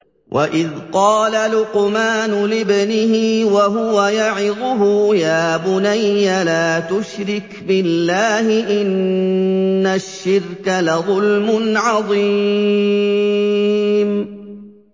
وَإِذْ قَالَ لُقْمَانُ لِابْنِهِ وَهُوَ يَعِظُهُ يَا بُنَيَّ لَا تُشْرِكْ بِاللَّهِ ۖ إِنَّ الشِّرْكَ لَظُلْمٌ عَظِيمٌ